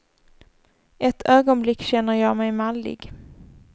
Ett ögonblick känner jag mig mallig.